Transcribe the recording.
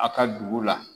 A ka dugu la